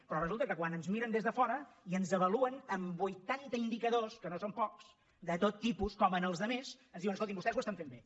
però resulta que quan ens miren des de fora i ens avaluen amb vuitanta indicadors que no són pocs de tot tipus com als altres ens diuen escoltin vostès ho estan fent bé